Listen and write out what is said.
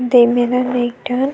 दे मेरन एक ठन--